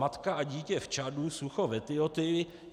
Matka a dítě v Čadu, sucho v Etiopii.